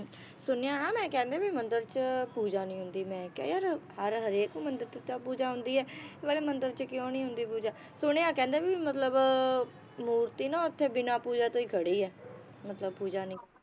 ਸੁਣਿਆ ਨਾ ਮੈ ਕਹਿੰਦੇ ਵੀ ਮੰਦਿਰ ਚ ਪੂਜਾ ਨੀ ਹੁੰਦੀ ਮੈ ਕਿਹਾ ਯਾਰ ਹਰ ਹਰੇਕ ਮੰਦਿਰ ਚ ਤਾਂ ਪੂਜਾ ਹੁੰਦੀ ਏ ਇਹ ਵਾਲੇ ਮੰਦਿਰ ਚ ਕਿਉਂ ਨੀ ਹੁੰਦੀ ਪੂਜਾ ਸੁਣਿਆ ਕਹਿੰਦੇ ਵੀ ਮਤਲਬ ਮੂਰਤੀ ਨਾ ਓਥੇ ਬਿਨਾ ਪੂਜਾ ਤੋਂ ਈ ਖੜੀ ਏ ਮਤਲਬ ਪੂਜਾ ਨੀ